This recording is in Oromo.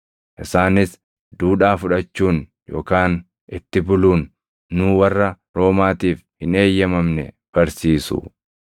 Isaanis duudhaa fudhachuun yookaan itti buluun nuu warra Roomaatiif hin eeyyamamne barsiisu.”